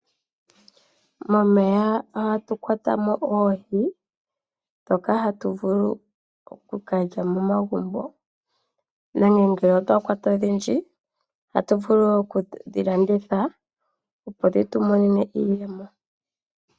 Momeya oha tu kwata mo oohi dhoka hatu vulu okukalya momagumbo, nenge ngele otwa kwata odhindji oha tu vulu wo okudhi landitha opo dhi tu monene iiyemo.